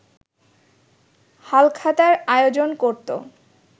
হালখাতার আয়োজন করতো